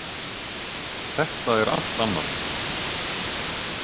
Þetta er allt annað.